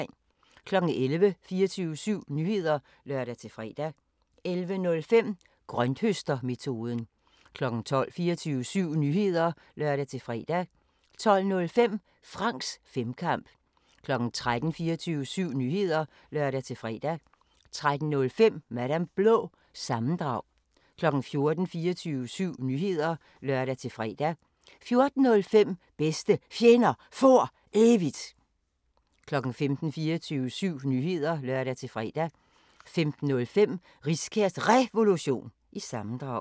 11:00: 24syv Nyheder (lør-fre) 11:05: Grønthøstermetoden 12:00: 24syv Nyheder (lør-fre) 12:05: Franks Femkamp 13:00: 24syv Nyheder (lør-fre) 13:05: Madam Blå – sammendrag 14:00: 24syv Nyheder (lør-fre) 14:05: Bedste Fjender For Evigt 15:00: 24syv Nyheder (lør-fre) 15:05: Riskærs Revolution – sammendrag